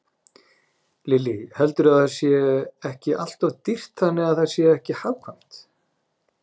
Lillý: Heldurðu að það sé ekki alltof dýrt þannig að það sé ekki hagkvæmt?